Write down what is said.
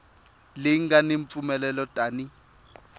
leyi nga ni mpfumelelo tani